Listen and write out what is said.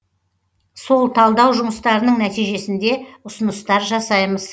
сол талдау жұмыстарының нәтижесінде ұсыныстар жасаймыз